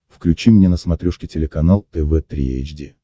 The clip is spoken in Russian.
включи мне на смотрешке телеканал тв три эйч ди